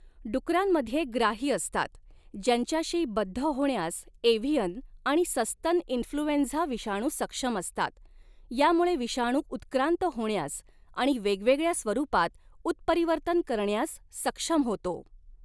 डुकरांमध्ये ग्राही असतात ज्यांच्याशी बद्ध होण्यास एव्हीयन आणि सस्तन इन्फ्लूएंझा विषाणू सक्षम असतात, यामुळे विषाणू उत्क्रांत होण्यास आणि वेगवेगळ्या स्वरूपात उत्परिवर्तन करण्यास सक्षम होतो.